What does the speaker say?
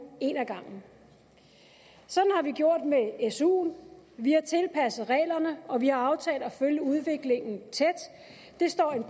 en ad gangen sådan har vi gjort med suen vi har tilpasset reglerne og vi har aftalt at følge udviklingen tæt det står en